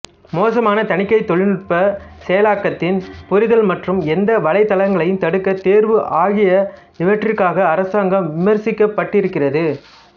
மோசமான தணிக்கை தொழில்நுட்ப செயலாக்கத்தின் புரிதல் மற்றும் எந்த வலைதளங்களை தடுக்க தேர்வு ஆகிய இவற்றுக்காக அரசாங்கம் விமர்சிக்கப்பட்டிருக்கிறது